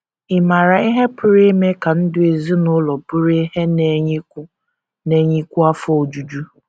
Ị̀ maara ihe pụrụ ime ka ndụ ezinụlọ bụrụ ihe na - enyekwu na - enyekwu afọ ojuju?